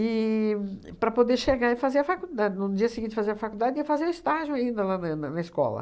E para poder chegar e fazer a faculdade, no dia seguinte fazer a faculdade ia fazer o estágio ainda lá na na na escola.